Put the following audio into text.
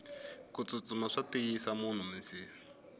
kutsutsuma swa tiyisa munhu minsiha